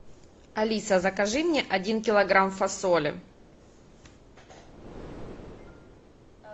алиса закажи мне один килограмм фасоли